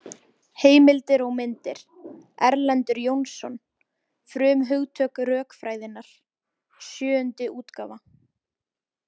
Heimildir og myndir Erlendur Jónsson, Frumhugtök rökfræðinnar, sjöundi útgáfa.